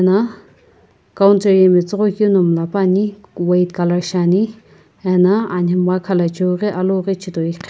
na counter yae matsoghoi keu na malapane white colour shiane ana anemgha alu ghi chitoi ane.